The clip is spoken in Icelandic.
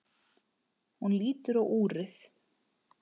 Hún lítur á úrið.